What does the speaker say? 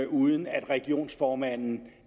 uden at regionsformanden